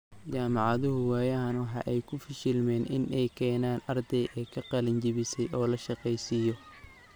Jaamacaduhu waayadan waxa ay ku fashilmeen in ay keenaan arday ka qalin jabisay oo la shaqeysiyo.